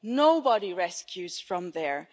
Nobody rescues from there.